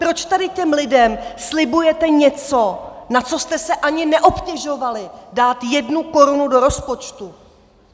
Proč tady těm lidem slibujete něco, na co jste se ani neobtěžovali dát jednu korunu do rozpočtu?